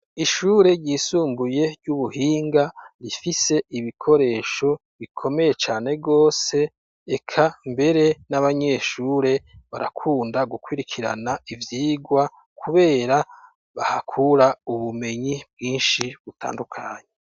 Ishure ryisumbuye ry'ubuhinga rifise ibikoresho bikomeye cane rwose eka mbere n'abanyeshure barakunda gukwirikirana ivyigwa, kubera bahakura ubumenyi bwinshi butandukanyyi.